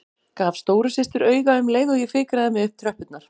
Gaf stóru systur auga um leið og ég fikraði mig upp tröppurnar.